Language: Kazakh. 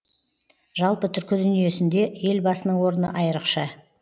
жалпы түркі дүниесінде елбасының орны айрықша